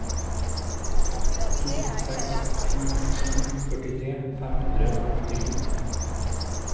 to seks to sju førtitre fem hundre og åttisju